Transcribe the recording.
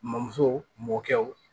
Mɔmuso mɔkɛw